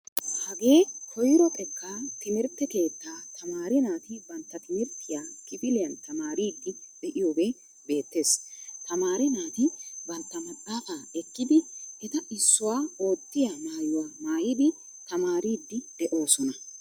Hagee koyro xeekka timirttee keettaa tamaare naati bantta timirttiyaa kifiliyan tamaaridi deiyoge beetees. Tamaare naati bantta maxaafaa ekkidi etta issuwaa oottiya maayuwaa maayidi tamaaridi deosona.